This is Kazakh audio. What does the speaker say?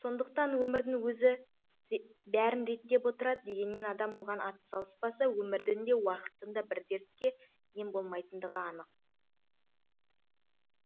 сондықтан өмірдің өзі бәрін реттеп отырады дегенмен адам оған атсалыспаса өмірдің де уақыттың да бір дертке ем болмайтындығы анық